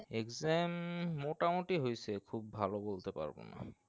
exam মোটামোটি হইসে খুব ভালো বলতে পারবোনা